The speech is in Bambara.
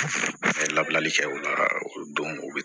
N'a ye labilali kɛ o la o don u bɛ